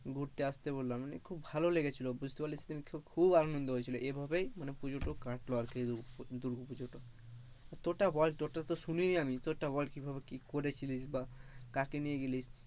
ঘুরতে আসতে বললাম মানে খুব ভালো লেগেছিল খুব আনন্দ হয়েছিল এ ভাবেই পুজোটা কাটল আর কি দুর্গো পুজোটা, তোরটা বল তোরটা তো শুনি নি আমি, তোরটা বল কিভাবে কি করেছিলি, বা কাকে নিয়ে গিলেস,